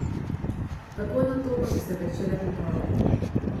Takoj nato pa so se pričele priprave.